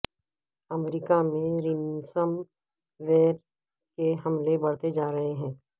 امریکہ میں ransomware کے حملے بڑھتے جا رہے ہیں